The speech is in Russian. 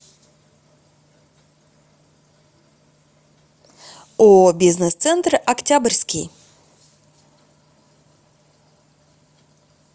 ооо бизнес центр октябрьский